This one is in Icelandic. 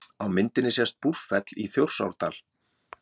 Á myndinni sést Búrfell í Þjórsárdal.